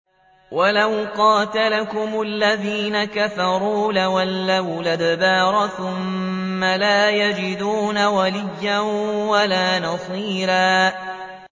وَلَوْ قَاتَلَكُمُ الَّذِينَ كَفَرُوا لَوَلَّوُا الْأَدْبَارَ ثُمَّ لَا يَجِدُونَ وَلِيًّا وَلَا نَصِيرًا